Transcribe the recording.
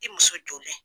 I muso joli